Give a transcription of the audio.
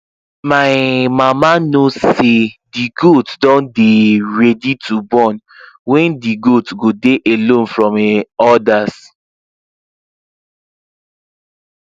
my um mama know say the goat dun dey um ready to born when the goat go dey alone from um others